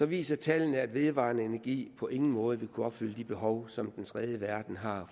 viser tallene at vedvarende energi på ingen måde vil kunne opfylde det behov for som den tredje verden har